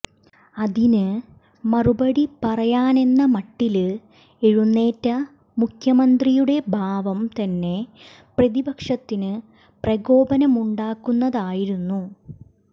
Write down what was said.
അതിന് മറുപടി പറയാനെന്ന മട്ടില് എഴുന്നേറ്റ മുഖ്യമന്ത്രിയുടെ ഭാവം തന്നെ പ്രതിപക്ഷത്തിന് പ്രകോപനമുണ്ടാക്കുന്നതായിരുന്നു